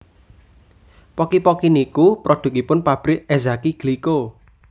Pocky Pocky niku produkipun pabrik Ezaki Glico